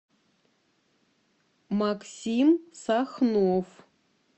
максим сахнов